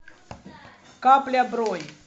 капля бронь